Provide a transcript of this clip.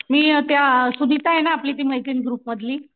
मी अ त्या अ सुनीता आहे ना ती मैत्रीण आपली ग्रुपमधली